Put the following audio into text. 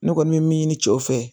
Ne kɔni bɛ min ɲini cɛw fɛ